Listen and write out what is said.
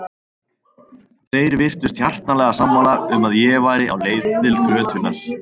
Þeir virtust hjartanlega sammála um að ég væri á leið til glötunar.